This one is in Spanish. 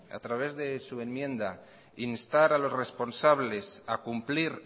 a través de su enmienda instar a los responsables a cumplir